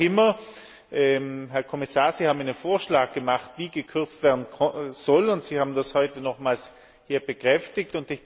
Aber wie auch immer, Herr Kommissar, Sie haben einen Vorschlag gemacht, wie gekürzt werden soll, und Sie haben das heute nochmals hier bekräftigt.